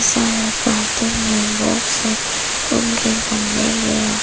सारे फूल के गमले में रख--